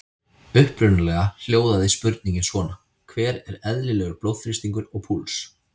Upprunalega hljóðaði spurningin svona: Hver er eðlilegur blóðþrýstingur og púls?